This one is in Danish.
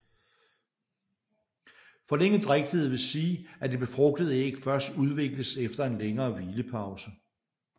Forlænget drægtighed vil sige at det befrugtede æg først udvikles efter en længere hvilepause